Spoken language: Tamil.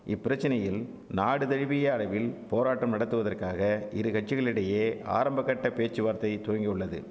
இப்பிரச்சனையில் நாடுதழுவிய அளவில் போராட்டம் நடத்துவதற்காக இருகட்சிகளிடையே ஆரம்ப கட்ட பேச்சுவார்த்தை துவங்கியுள்ளது